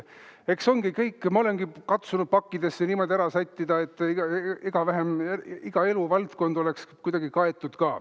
Eks ma olen katsunud pakkidesse niimoodi ära sättida, et iga eluvaldkond oleks kuidagi kaetud.